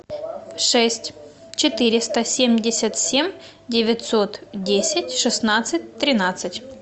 шесть четыреста семьдесят семь девятьсот десять шестнадцать тринадцать